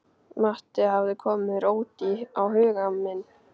Matti hafði komið róti á huga minn.